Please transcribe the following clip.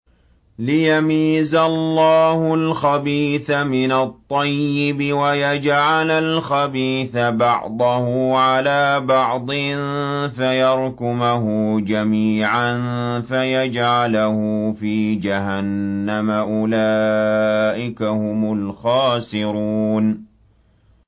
لِيَمِيزَ اللَّهُ الْخَبِيثَ مِنَ الطَّيِّبِ وَيَجْعَلَ الْخَبِيثَ بَعْضَهُ عَلَىٰ بَعْضٍ فَيَرْكُمَهُ جَمِيعًا فَيَجْعَلَهُ فِي جَهَنَّمَ ۚ أُولَٰئِكَ هُمُ الْخَاسِرُونَ